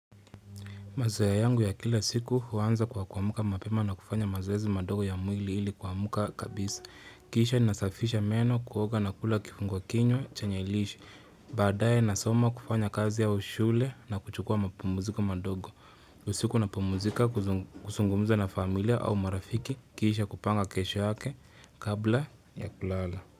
Mazaa ya yangu ya kila siku huanza kwa kuamka mapema na kufanya mazoezi madogo ya mwili ili kuamka kabisa. Kisha nasafisha meno kuoga na kula kifunguakinywa chenye lishe. Baadaye nasoma kufanya kazi au shule na kuchukua mapumuziko madogo. Kwa siku napumuzika kusungumuza na familia au marafiki kisha kupanga kesho yake kabla ya kulala.